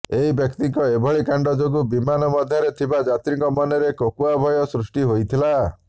ଏହି ବ୍ୟକ୍ତିଙ୍କ ଏଭଳି କାଣ୍ଡ ଯୋଗୁ ବିମାନ ମଧ୍ୟରେ ଥିବା ଯାତ୍ରୀଙ୍କ ମନରେ କୋକୁଆ ଭୟ ସୃଷ୍ଟି ହୋଇଥିଲା